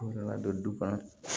U nana don du kɔnɔ